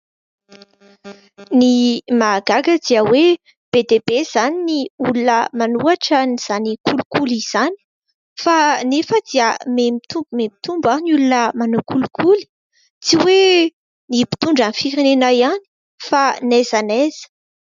Ny mahagaga dia hoe be dia be izany no olona manohitra izany kolikoly izany kanefa dia miha-mitombo miha-mitombo ary ny olona manao kolikoly. Tsy hoe ny mpitondra firenena ihany fa n'aiza n'aiza.